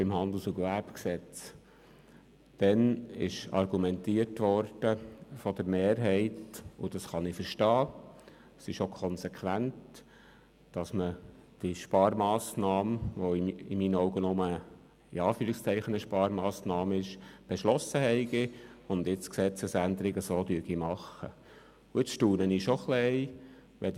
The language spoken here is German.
Es ist vonseiten der Mehrheit argumentiert worden – das kann ich verstehen, das ist auch konsequent –, dass die Sparmassnahme, welche in meinen Augen nur in Anführungszeichen eine Sparmassnahme ist, beschlossen worden sei und die Gesetzesänderung nun entsprechend gemacht werde.